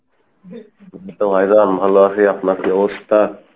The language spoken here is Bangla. এইতো ভাইজান ভালো আছি, আপনার কী অবস্থা?